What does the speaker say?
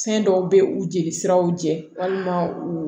Fɛn dɔw bɛ u jeli siraw jɛ walima u